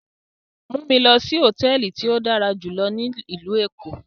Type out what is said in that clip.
Mu mi lọ si hotẹẹli ti o dara julọ ni ilu Eko!